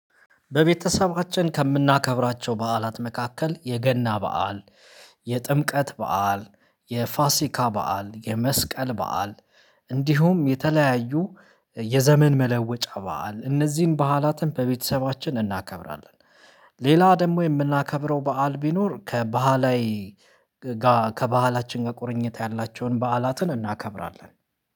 በቤተሰባችን ከምናከብራቸው በዓላት መካከል የገና በዓል የጥምቀት በዓል የፋሲካ በዓል የመስቀል በዓል እንዲሁም የተለያዩ የዘመን መለወጫ በዓል እነዚህን በዓላትን በቤተሰባችን እናከብራለን። ሌላ ደግሞ የምናከብረው በዓል ቢኖር ከባህላዊ ጋር ከባህላችን ጋር ቁርኝት ያላቸውን በዓላትን እናከብራለን